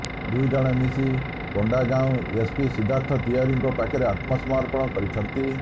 ଦୁଇ ଜଣ ମିଶି କୋଣ୍ଡାଗାଉଁ ଏସପି ସିଦ୍ଧାର୍ଥ ତିଓ୍ବାରୀଙ୍କ ପାଖରେ ଆତ୍ମସମର୍ପଣ କରିଛନ୍ତି